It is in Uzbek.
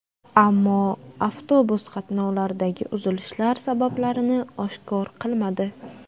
Ammo avtobus qatnovlaridagi uzilishlar sabablarini oshkor qilmadi.